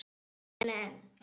Hrein heppni einu sinni enn.